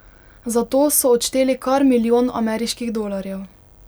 Za to so odšteli kar milijon ameriških dolarjev.